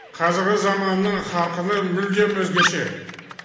қазіргі заманның қарқыны мүлдем өзгеше